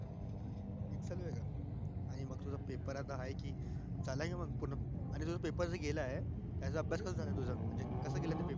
आणि मग तुझे आता आहे कि झाला का मंग पूर्ण तुझे paper ता आता गेलं हाय कसे गेले म paper